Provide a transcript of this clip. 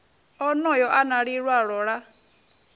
onoyo a na lilwalo la